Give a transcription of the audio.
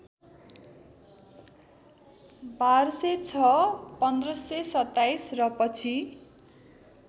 १२०६ १५२७ र पछि